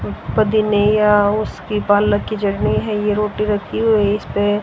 रोटी रखी हुई है इसपे--